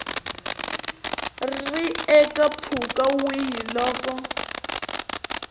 ri eka mpfhuka wihi loko